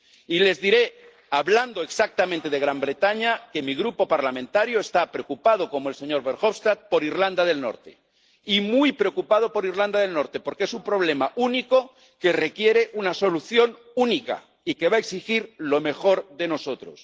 Y les diré —hablando exactamente de Gran Bretaña— que mi grupo parlamentario está preocupado, como el señor Verhofstadt, por Irlanda del Norte, y muy preocupado por Irlanda del Norte, porque es un problema único que requiere una solución única y que va a exigir lo mejor de nosotros.